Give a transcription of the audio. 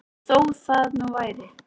Þó það nú væri.